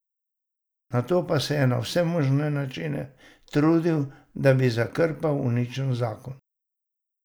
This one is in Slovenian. Nato pa se je na vse možne načine trudil, da bi zakrpal uničen zakon.